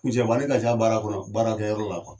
Misɛnmani ka ca baara kɔnɔ baara kɛ yɔrɔ la